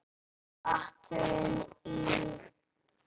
Athugun í